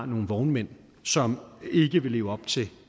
nogle vognmænd som ikke vil leve op til